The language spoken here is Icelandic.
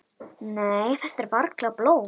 Nei, þetta er varla blóð.